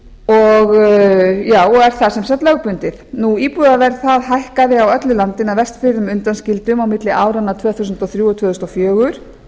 og er það sem sagt lögbundið íbúðaverð hækkaði á öllu landinu að vestfjörðum undanskildum á milli áranna tvö þúsund og þrjú og tvö þúsund og fjögur